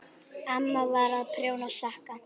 Amma var að prjóna sokka.